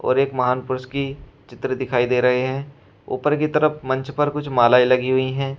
और एक महान पुरुष की चित्र दिखाई दे रहे है। ऊपर की तरफ मंच पर कुछ मालाएं लगी हुई हैं।